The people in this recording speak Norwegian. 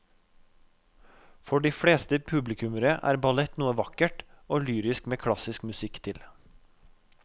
For de fleste publikummere er ballett noe vakkert og lyrisk med klassisk musikk til.